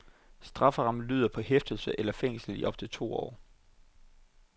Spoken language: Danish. Strafferammen lyder på hæfte eller fængsel i op til to år.